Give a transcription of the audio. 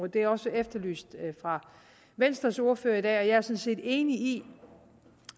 det er også efterlyst af venstres ordfører i dag og jeg er sådan set enig i